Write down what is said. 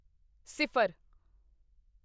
ਸਿਫਰ